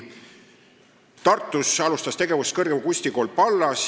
Tartus alustas tegevust kõrgem kunstikool Pallas.